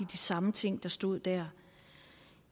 de samme ting der stod der